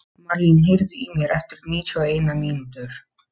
Marlín, heyrðu í mér eftir níutíu og eina mínútur.